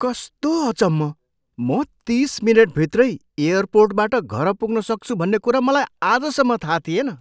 कस्तो अचम्म! म तिस मिनेटभित्रै एयरपोर्टबाट घर पुग्न सक्छु भन्ने कुरा मलाई आजसम्म थाहा थिएन।